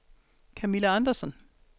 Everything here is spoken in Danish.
Kamilla Andersson